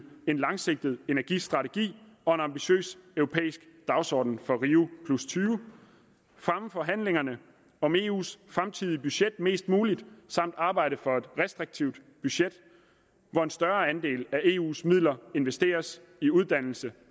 en langsigtet energistrategi og en ambitiøs europæisk dagsorden for rio20 fremme forhandlingerne om eus fremtidige budget mest muligt samt arbejde for et restriktivt budget hvor en større andel af eus midler investeres i uddannelse